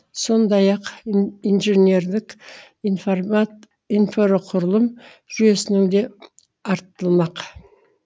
сондай ақ ин инженерлік информат инфрақұрылым жүйесінің де артылмақ